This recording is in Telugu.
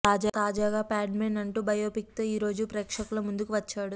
తాజాగా ప్యాడ్మ్యాన్ అంటూ బయోపిక్ తో ఈరోజు ప్రేక్షకుల ముందుకు వచ్చాడు